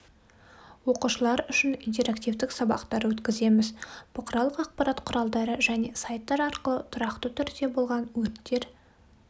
оқушылар үшін интерактивтік сабақтар өткіземіз бұқаралық ақпарат құралдары және сайттар арқылы тұрақты түрде болған өрттер